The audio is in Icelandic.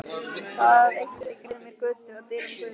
Það eitt mundi greiða mér götu að dyrum guðs.